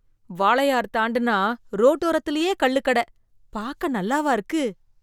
வாளையார் தாண்டுனா ரோட்டோரத்திலியே கள்ளுக் கட, பாக்க நல்லாவா இருக்கு.